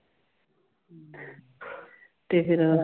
ਤੇ ਫਿਰ